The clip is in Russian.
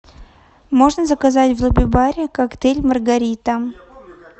можно заказать в лобби баре коктейль маргарита